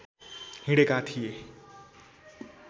हिँडेका थिए